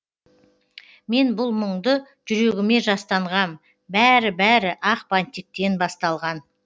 мен бұл мұңды жүрегіме жастанғам бәрі бәрі ақ бантиктен басталған